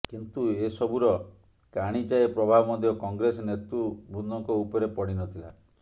କିନ୍ତୁ ଏସବୂୁର କାଣିଚାଏ ପ୍ରଭାବ ମଧ୍ୟ କଂଗ୍ରେସ ନେତୃବୃନ୍ଦଙ୍କ ଉପରେ ପଡିନଥିଲା